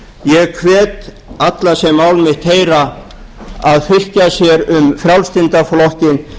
ég hvet alla sem mál mitt heyra að fylkja sér um frjálslynda